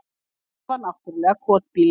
En þetta var náttúrlega kotbýli.